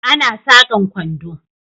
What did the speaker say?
Ana sakan kwando